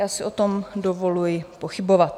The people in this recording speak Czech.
Já si o tom dovoluji pochybovat.